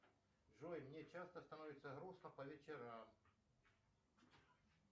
джой мне часто становится грустно по вечерам